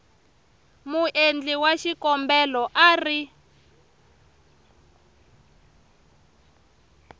muendli wa xikombelo a ri